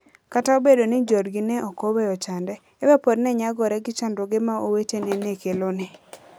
Kata obedo ni joodgi ne ok oweyo chande, Eva pod ne nyagore gi chandruoge ma owetene ne kelone.